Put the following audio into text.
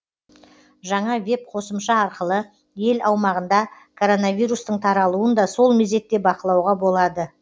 жаңа веб қосымша арқылы ел аумағында коронавирустың таралуын да сол мезетте бақылауға болады